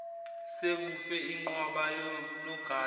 sekufe inqwaba yonogada